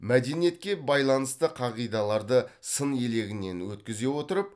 мәдениетке байланысты қағидаларды сын елегінен өткізе отырып